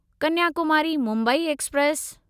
Kanyakumari Mumbai express